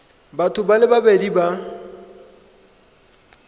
batho ba le babedi ba